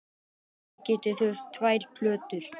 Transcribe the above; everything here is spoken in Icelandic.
Þið gætuð þurft tvær plötur.